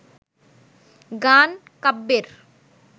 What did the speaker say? গান কাব্যের